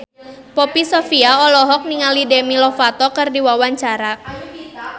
Poppy Sovia olohok ningali Demi Lovato keur diwawancara